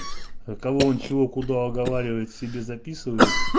кого он чего куда оговаривает себе записывает